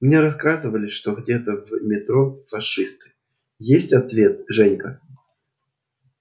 мне рассказывали что где-то в метро фашисты есть ответ женька